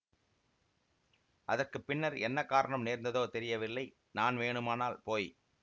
அதற்கு பின்னர் என்ன காரணம் நேர்ந்ததோ தெரியவில்லை நான் வேணுமானால் போய்